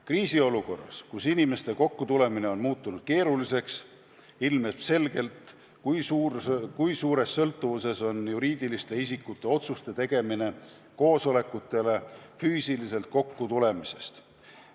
Kriisiolukorras, kus inimeste kokkutulemine on muutunud keeruliseks, ilmneb selgelt, kui suures sõltuvuses on juriidiliste isikute otsuste tegemine koosolekutele füüsiliselt kokkutulemisest.